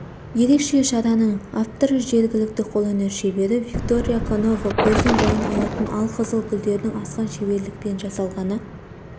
ерекше шараның авторы жергілікті қолөнер шебері виктория конова көздің жауын алатын алқызыл гүлдердің асқан шеберлікпен жасалғаны